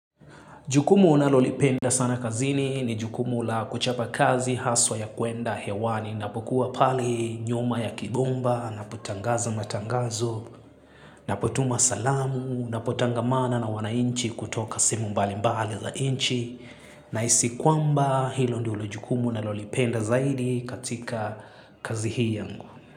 Jukumu ninalolipenda sana kazini ni jukumu la kuchapa kazi haswa ya kuenda hewani na ninapokuwa pale nyuma ya kibomba na ninapotangaza matangazo ninapotuma salamu ninapotangamana na wanainchi kutoka sehemu mbali mbali za nchi nahisi kwamba hilo ndilo jukumu ninalolipenda zaidi katika kazi hii yangu.